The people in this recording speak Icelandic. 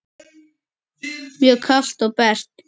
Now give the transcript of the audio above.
Mjög kalt og bert.